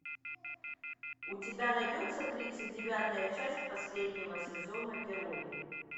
у тебя найдется тридцать девятая часть последнего сезона герои